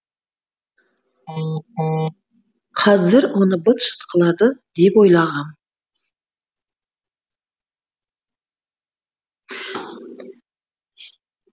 қазір оны быт шыт қылады деп ойлағам